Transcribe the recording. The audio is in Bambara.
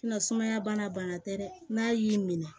sumaya bana tɛ dɛ n'a y'i minɛ